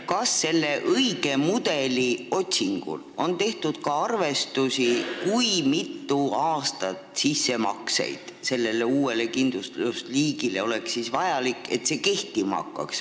Kas selle õige mudeli otsingul on tehtud ka arvestusi, kui mitu aastat tuleks teha selles uues kindlustusliigis sissemakseid, et see kindlustus kehtima hakkaks?